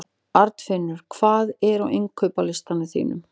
Arnfinnur, hvað er á innkaupalistanum mínum?